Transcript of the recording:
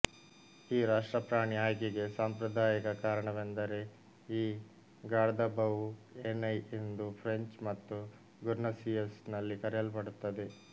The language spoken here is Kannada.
ಈ ರಾಷ್ಟ್ರ ಪ್ರಾಣಿ ಆಯ್ಕೆಗೆ ಸಾಂಪ್ರದಾಯಕ ಕಾರಣವೆಂದರೆ ಈ ಗಾರ್ಧಬವುಏನೈ ಎಂದು ಫ್ರೆಂಚ್ ಮತ್ತು ಗುರ್ನಸಿಯಸ್ ನಲ್ಲಿಕರೆಯಲ್ಪಡುತ್ತದೆ